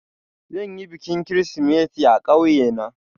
Zan yi bikin Kirsimeti a ƙauye na